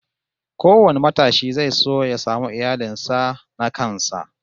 Kowane matashi zai so ya samu iyalin sa na kansa